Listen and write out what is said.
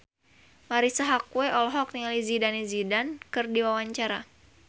Marisa Haque olohok ningali Zidane Zidane keur diwawancara